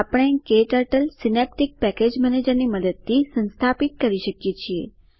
આપણે ક્ટર્ટલ Synaptic package manager ની મદદથી સંસ્થાપિત કરી શકીએ છીએ